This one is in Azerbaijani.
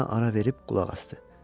Sözünə ara verib qulaq asdı.